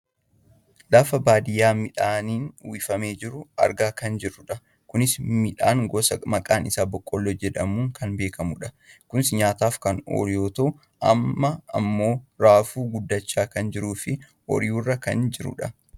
Lafa baadiyyaa midhaaniin uwwifamee jiru argaa kan jirrudha. Kunis midhaan gosa maqaan isaa boqqolloo jedhamuun kan beekamudha. Kunis nyaataaf kan oolu yoo ta'u amma ammoo raafuu guddachaa kan jiruufi ooyiruurra kan jirudha.